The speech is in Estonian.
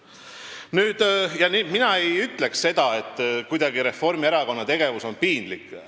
Nii et mina ei ütleks seda, et Reformierakonna tegevus on kuidagi piinlik.